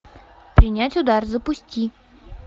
принять удар запусти